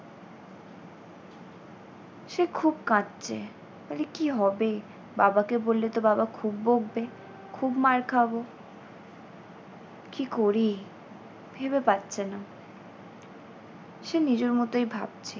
সে খুব কাঁদছে, বলে কী হবে বাবাকে বললে তো বাবা খুব বকবে, খুব মার খাবো। কী করি ভেবে পাচ্ছে না। সে নিজের মতই ভাবছে।